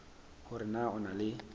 hore na o na le